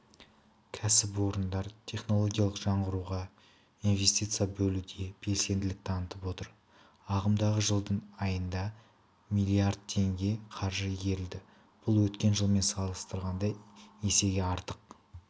кәсіпорындар технологиялық жаңғыруға инвестиция бөлуде белсенділік танытып отыр ағымдағы жылдың айында миллиард теңге қаржы игерілді бұл өткен жылмен салыстырғанда есеге артық